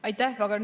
Aitäh!